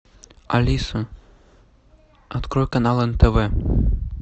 алиса открой канал нтв